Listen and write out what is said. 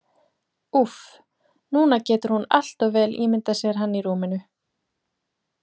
Úff, núna getur hún allt of vel ímyndað sér hann í rúminu.